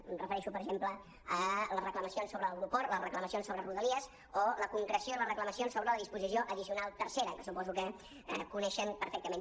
em refereixo per exemple a les reclamacions sobre l’aeroport les reclamacions sobre rodalies o la concreció i les reclamacions sobre la disposició addicional tercera que suposo que coneixen perfectament